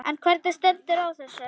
En hvernig stendur á þessu?